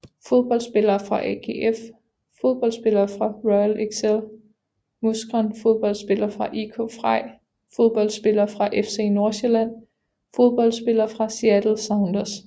Fodboldspillere fra AGF Fodboldspillere fra Royal Excel Mouscron Fodboldspillere fra IK Frej Fodboldspillere fra FC Nordsjælland Fodboldspillere fra Seattle Sounders